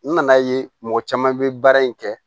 N nana ye mɔgɔ caman bɛ baara in kɛ